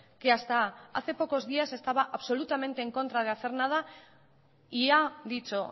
que hasta hace pocos días estaba absolutamente en contra de hacer nada y ha dicho